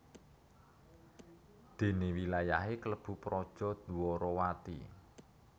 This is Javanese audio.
Dene wilayahe klebu Praja Dwarawati